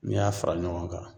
N'i y'a fara ɲɔgɔn kan